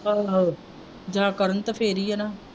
ਆਹੋ ਜਾਂ ਕਰਨ ਤੇ ਫਿਰ ਹੀ ਹੈ ਨਾਂ।